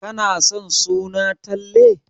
Kana son suna Talle?